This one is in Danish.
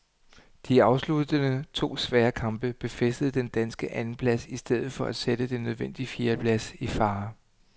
De afsluttende to svære kamp befæstede den danske andenplads i stedet for at sætte den nødvendige fjerdeplads i fare.